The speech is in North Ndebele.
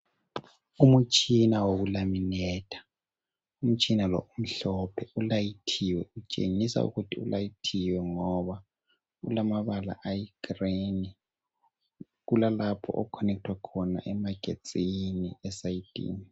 umtshina woku laminetha umtshina lo umhlophe ulayithiwe utshengisa ukuthi ulayithiwe ngoba ulamabala ayi green kulalpho okukhonethwa khona emagetsini esayidini